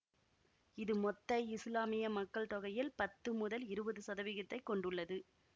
இது மொத்த இசுலாமிய மக்கள் தொகையில் பத்து முதல் இருவது சதவிகிதத்தை கொண்டுள்ளது